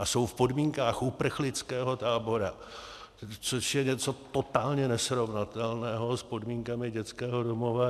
A jsou v podmínkách uprchlického tábora, což je něco totálně nesrovnatelného s podmínkami dětského domova.